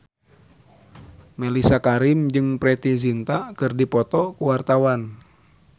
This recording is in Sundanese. Mellisa Karim jeung Preity Zinta keur dipoto ku wartawan